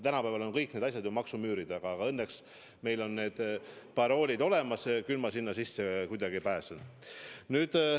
Tänapäeval on kõik need asjad ju maksumüüri taga, aga õnneks meil on need paroolid olemas, küll ma sinna sisse kuidagi pääsen.